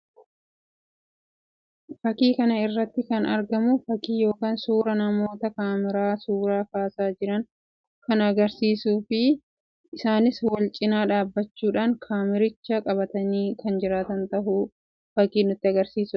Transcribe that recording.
Fakkii kana irratti kan argamu fakkii yookiin suuràa namoota kaameraan suuraa kaasaa jiran kan agarsiisuu dha. Isaanis wal cina dhaabbachuun kaamericha qabatanii kan jiran tahuu fakkii kana irraa kan hubannuu dha.